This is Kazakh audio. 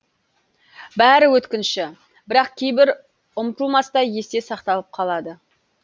бәрі өткінші бірақ кейбірі ұмытылмастай есте сақталып қалады